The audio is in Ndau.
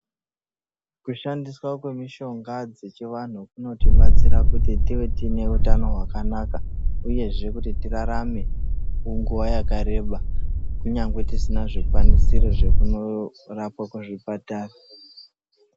Kushandiswa kwemushonga dzechivantu kunotibatsira kuti tive tine utano hwakanaka uyezve kuti tirarame kwenguwa yakareba kunyangwe tisina zvikwanisiro zvokunorapwa kuzvipatara.